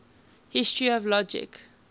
history of logic